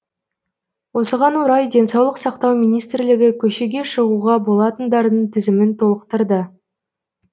осыған орай денсаулық сақтау министрлігі көшеге шығуға болатындардың тізімін толықтырды